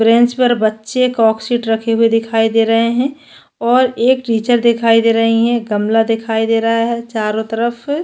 bench पर बच्चे कॉक शीट रखे हुए दिखाई दे रहै है और एक टीचर दिखाई दे रही है गमला दिखाई दे रहा है चारो तरफ --